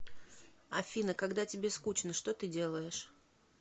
афина когда тебе скучно что ты делаешь